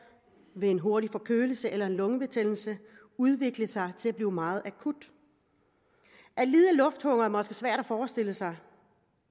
ved en hurtig forkølelse eller en lungebetændelse udvikle sig til at blive meget akut at lide af lufthunger er måske svært at forestille sig